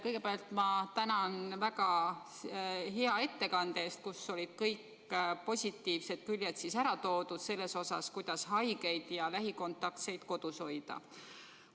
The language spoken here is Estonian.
Kõigepealt ma tänan väga hea ettekande eest, kus olid ära toodud kõik positiivsed küljed, kuidas haigeid ja lähikontaktseid kodus hoida.